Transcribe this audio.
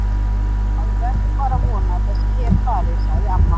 Maður verður bara að vona að þessi her fari, sagði amma.